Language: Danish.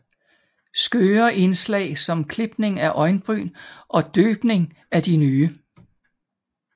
Skøre indslag som klipning af øjenbryn og døbning af de nye